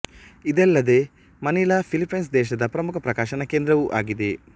ಇದಲ್ಲದೆ Manila Philippines ದೇಶದ ಪ್ರಮುಖ ಪ್ರಕಾಶನ ಕೇಂದ್ರವೂ ಆಗಿದೆ